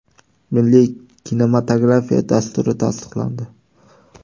Milliy kinematografiya dasturi tasdiqlandi.